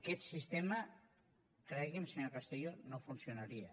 aquest sistema cregui’m senyor castillo no funcionaria